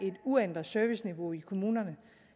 et uændret serviceniveau i kommunerne